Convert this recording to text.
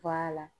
la